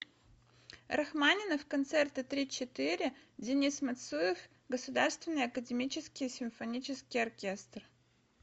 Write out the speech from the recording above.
рахманинов концерты три четыре денис мацуев государственный академический симфонический оркестр